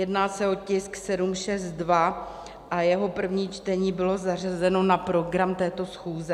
Jedná se o tisk 762 a jeho první čtení bylo zařazeno na program této schůze.